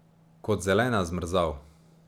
Kot zelena zmrzal.